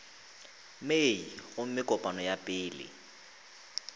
mei gomme kopano ya pele